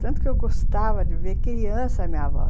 Tanto que eu gostava de ver criança, minha avó.